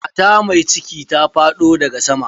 Mata mai cikin ta faɗo daga sama.